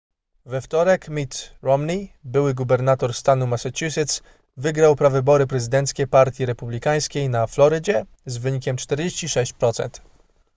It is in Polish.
we wtorek mitt romney były gubernator stanu massachusetts wygrał prawybory prezydenckie partii republikańskiej na florydzie z wynikiem 46%